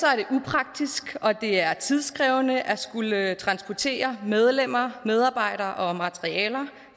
er det upraktisk og det er tidskrævende at skulle transportere medlemmer medarbejdere og materialer